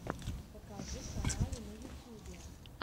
покажи каналы на ютьюбе